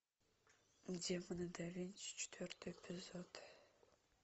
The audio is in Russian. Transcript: демоны да винчи четвертый эпизод